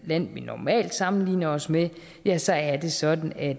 land vi normalt sammenligner os med ja så er det sådan at